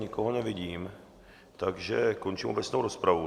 Nikoho nevidím, takže končím obecnou rozpravu.